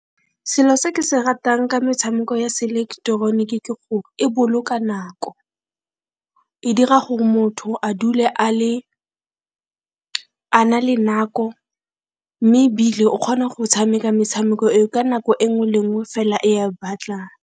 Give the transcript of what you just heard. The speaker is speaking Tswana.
Selo se ke se ratang ka metshameko ya seileketeroniki ke gore e boloka nako, e dira gore motho a dule a na le nako, mme ebile o kgona go tshameka metshameko eo ka nako e nngwe le nngwe fela e a batlang.